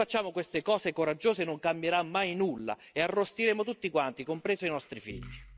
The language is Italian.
Se non facciamo queste cose coraggiose non cambierà mai nulla e arrostiremo tutti quanti, compresi i nostri figli.